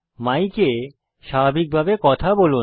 মাইকে স্বাভাবিকভাবে কথা বলুন